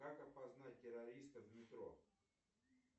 как опознать террориста в метро